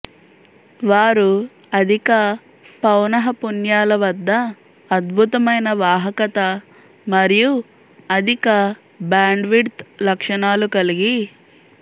వారు అధిక పౌనఃపున్యాల వద్ద అద్భుతమైన వాహకత మరియు అధిక బ్యాండ్విడ్త్ లక్షణాలు కలిగి